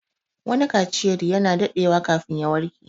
Wani kaciyar ya na daɗewa kafin ya warƙe